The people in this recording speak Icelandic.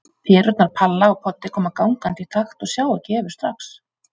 Perurnar Palla og Poddi koma gangandi í takt og sjá ekki Evu strax.